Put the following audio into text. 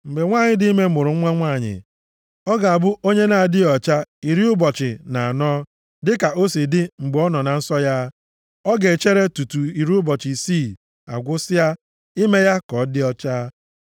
Mgbe nwanyị dị ime mụrụ nwa nwanyị, ọ ga-abụ onye nʼadịghị ọcha iri ụbọchị na anọ, dịka o si adị mgbe ọ nọ na nsọ ya. Ọ ga-echere tutu iri ụbọchị isii agwụsịa, ime ya ka ọ dị ọcha.